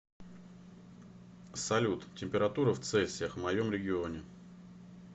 салют температура в цельсиях в моем регионе